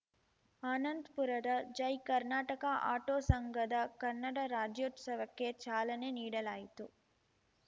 ಆನಂದಪುರದ Jai Karnataka auto ಸಂಘದ ಕನ್ನಡ ರಾಜ್ಯೋತ್ಸವಕ್ಕೆ ಚಾಲನೆ ನೀಡಲಾಯಿತು